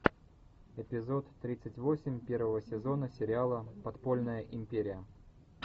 эпизод тридцать восемь первого сезона сериала подпольная империя